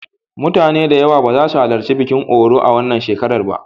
Mutane da yawa ba su halarci bikin Oro a wannan shekara ba.